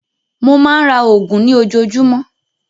Mó máa ń ra oògùn ní ojoojúmọ́.